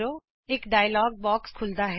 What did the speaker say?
ਇਕ dialogue box ਖੁਲ੍ਹਦਾ ਹੈ